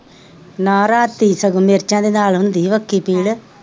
ਨਾਂ ਰਾਤੀ ਸਗੋਂ ਮਿਰਚ ਦੇ ਨਾਲ ਹੁੰਦੀ ਸੀ ਬੱਖੀ ਪੀੜ,